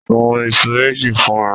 Sun iṣu méjì fún mi.